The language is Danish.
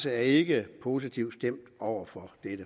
er ikke positivt stemt over for